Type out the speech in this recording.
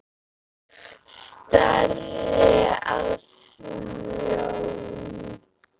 Starir á sjóinn.